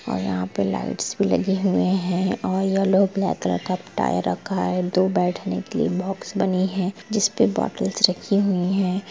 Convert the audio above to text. और यहाँ पर लाइट्स भी रखी गई है और येलो ब्लैक कलर का टायर रखा है दो बैठने के लिए बॉक्स बनी है जिसमें बॉटल्स रखी गई हैं।